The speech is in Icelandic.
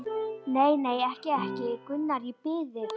Nei, nei, ekki, ekki, Gunnar, ég bið þig.